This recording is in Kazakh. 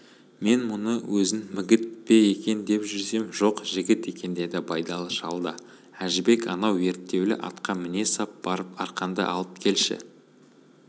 мен мұны өзін мігіт пе деп жүрсем жоқ жігіт екен деді байдалы шал да әжібек анау ерттеулі атқа міне сап барып арқанды алып келші